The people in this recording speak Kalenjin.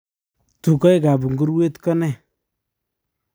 Tugoek ap nguruwet ko nee?